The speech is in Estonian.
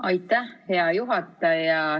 Aitäh, hea juhataja!